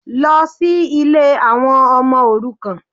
Lọ sí Ilé àwọn ọmọ òrukàn